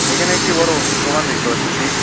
এখানে একটি বড় ওষুধ দোকান দেখতে পারতেছি।